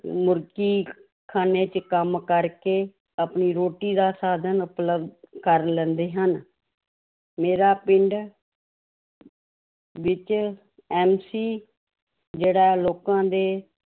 ਮੁਰਗੀ ਖਾਨੇ ਵਿੱਚ ਕੰਮ ਕਰਕੇ ਆਪਣੀ ਰੋਟੀ ਦਾ ਸਾਧਨ ਉਪਲਬਧ ਕਰ ਲੈਂਦੇ ਹਨ ਮੇਰਾ ਪਿੰਡ ਵਿੱਚ MC ਜਿਹੜਾ ਲੋਕਾਂ ਦੇ